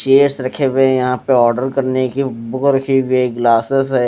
Chairs रखे हुए है यहां पे ऑर्डर करने की बुक रखी हुई हैं ग्लासेस हैं।